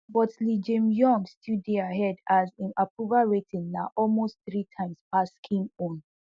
but lee jaemyung still dey ahead as im approval rating na almost three times pass kim own